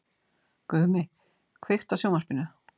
Gumi, kveiktu á sjónvarpinu.